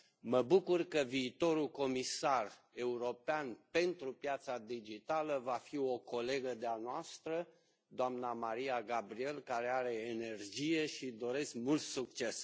Mă bucur că viitorul comisar european pentru piața digitală va fi o colegă de a noastră, doamna Mariya Gabriel care are energie și căreia îi doresc mult succes.